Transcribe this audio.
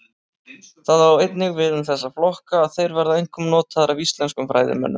Það á einnig við um þessa flokka að þeir verða einkum notaðir af íslenskum fræðimönnum.